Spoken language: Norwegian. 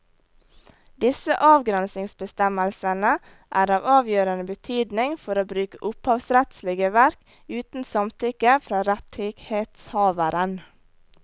Disse avgrensningsbestemmelsene er av avgjørende betydning for å bruke opphavsrettslige verk uten samtykke fra rettighetshaveren.